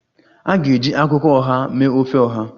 A ga-eji akwukwo oha mee ofe Oha